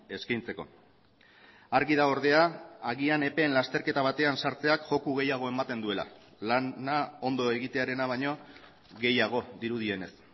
eskaintzeko argi dago ordea agian epeen lasterketa batean sartzeak joko gehiago ematen duela lana ondo egitearena baino gehiago dirudienez